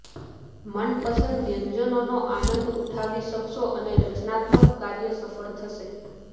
મનપસંદ વ્યંજનોનો આનંદ ઉઠાવી શકશો રચનાત્મક કાર્ય સફળ થશે